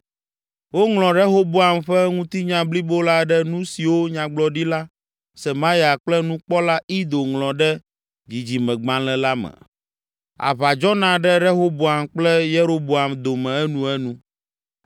Woŋlɔ Rehoboam ƒe ŋutinya blibo la ɖe nu siwo nyagblɔdila, Semaya kple nukpɔla, Ido ŋlɔ ɖe Dzidzimegbalẽ la me. Aʋa dzɔna ɖe Rehoboam kple Yeroboam dome enuenu.